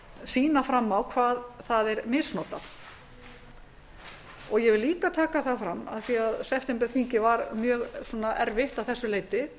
sýna fram á hvað það er misnotað ég vil líka taka það fram af því að septemberþingið var mjög erfitt að þessu leyti